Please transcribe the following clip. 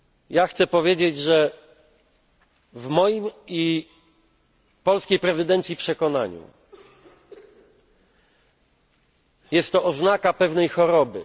Ja chcę powiedzieć, że w moim i polskiej prezydencji przekonaniu, jest to oznaka pewnej choroby.